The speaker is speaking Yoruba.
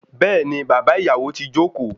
Béèni bàbá ìyàwó ti joko